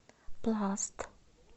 пласт